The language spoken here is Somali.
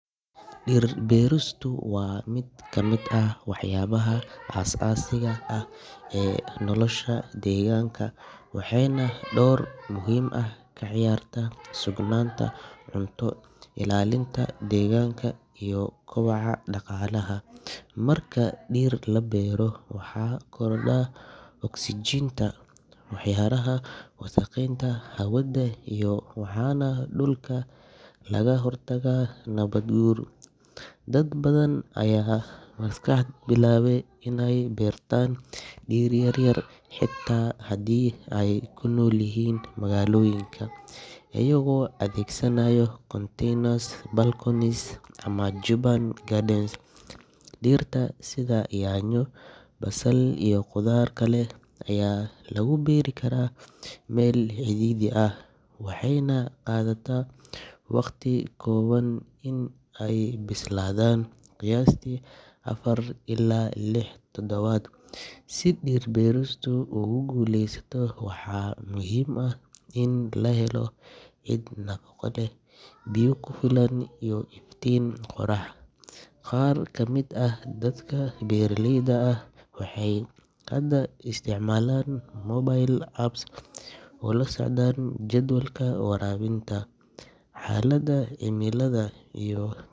Dhir-beeristu waa mid ka mid ah waxyaabaha aasaasiga ah ee nolosha iyo deegaanka, waxayna door muhiim ah ka ciyaartaa sugnaanta cunto, ilaalinta deegaanka, iyo kobaca dhaqaalaha. Marka dhir la beero, waxaa korodha oksijiinta, waxaa yaraada wasakheynta hawada, waxaana dhulka laga hortagaa nabaad-guur. Dad badan ayaa maanta bilaabay inay beertaan dhir yar yar xitaa haddii ay ku noolyihiin magaalooyinka, iyagoo adeegsanaya containers, balconies, ama urban gardens. Dhirta sida yaanyo, basal, iyo qudaar kale ayaa lagu beeri karaa meel cidhiidhi ah, waxayna qaadataa waqti kooban in ay bislaadaan, qiyaastii afar ilaa lix toddobaad. Si dhir-beeristu ugu guuleysato, waxaa muhiim ah in la helo ciid nafaqo leh, biyo ku filan, iyo iftiin qorrax. Qaar ka mid ah dadka beeraleyda ah waxay hadda isticmaalaan mobile apps si ay ula socdaan jadwalka waraabinta, xaaladda cimillada, iyo.